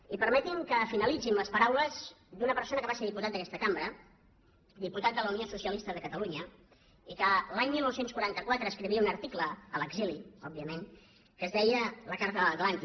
i permetinme que finalitzi amb les paraules d’una persona que va ser diputat d’aquesta cambra diputat de la unió socialista de catalunya i que l’any dinou quaranta quatre escrivia un article a l’exili òbviament que es deia la carta de l’atlàntic